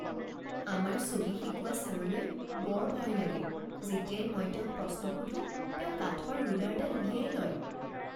আমাৰ ছবি শিকোৱা ছাৰলৈ বৰ ভয় লাগে। যেতিয়াই মই তেওঁক প্ৰশ্ন সোধোঁ, তেওঁ কাঠৰ ৰুলাৰডাল উলিয়াই লয়।